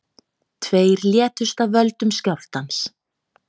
Tveir létust af völdum skjálftans